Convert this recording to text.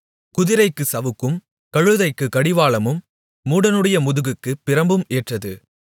குதிரைக்குச் சவுக்கும் கழுதைக்குக் கடிவாளமும் மூடனுடைய முதுகுக்குப் பிரம்பும் ஏற்றது